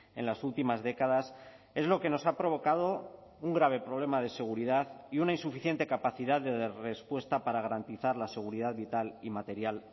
en las últimas décadas es lo que nos ha provocado un grave problema de seguridad y una insuficiente capacidad de respuesta para garantizar la seguridad vital y material